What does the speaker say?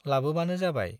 लाबोबानो जाबाय।